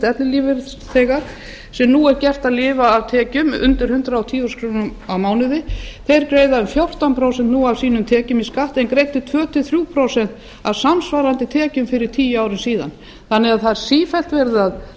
ellilífeyrisþega sem nú er gert að lifa af tekjum undir hundrað og tíu þúsund krónur á mánuði greiða nú um fjórtán prósent af tekjum sínum skatt en greiddu tvö til þrjú prósent af samsvarandi tekjum fyrir tíu árum þannig að sífellt er verið að